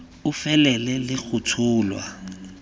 e felele le go tsholwa